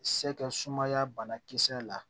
Se kɛ sumaya banakisɛ la